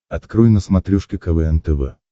открой на смотрешке квн тв